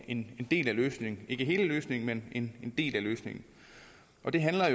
en del af løsningen ikke hele løsningen men en del af løsningen det handler